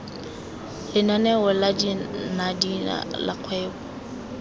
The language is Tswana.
lenaneo la danida la kgwebo